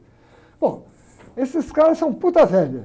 Bom, esses caras são velha.